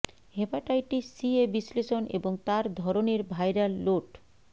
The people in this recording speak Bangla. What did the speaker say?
হেপাটাইটিস সি এ বিশ্লেষণ এবং তার ধরনের ভাইরাল লোড